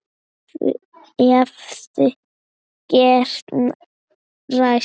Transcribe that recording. Hefði getað ræst.